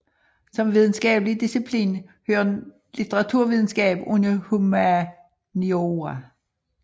Som videnskabelig disciplin hører litteraturvidenskab under humaniora